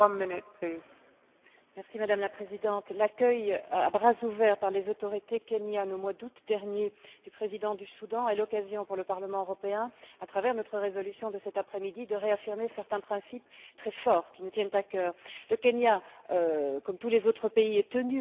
Madame la Présidente, l'accueil à bras ouverts, par les autorités kenyanes, au mois d'août dernier, du président du Soudan, est l'occasion pour le Parlement européen, à travers notre résolution de cet après midi, de réaffirmer certains principes très forts, qui nous tiennent à cœur. Le Kenya, comme tous les autres pays, est tenu au respect du droit international.